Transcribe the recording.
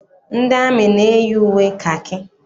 Ndị amị na- eyi uwe kakị.